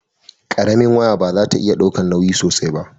karamin waya ba za ta iya daukan nauyi sosai ba